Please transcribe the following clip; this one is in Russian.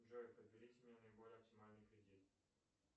джой подберите мне наиболее оптимальный кредит